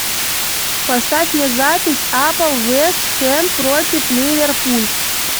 поставь мне запись апл вест хэм против ливерпуль